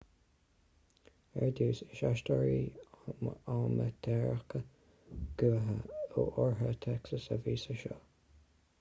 ar dtús is aisteoirí amaitéaracha gutha ó oirthear texas a bhí sa seó